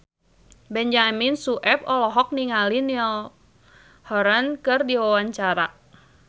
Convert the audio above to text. Benyamin Sueb olohok ningali Niall Horran keur diwawancara